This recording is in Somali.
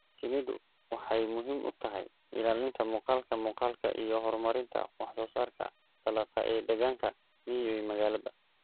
Shinnidu waxay muhiim u tahay ilaalinta muuqaalka muuqaalka iyo horumarinta wax-soo-saarka dalagga ee deegaanka miyi iyo magaalaba.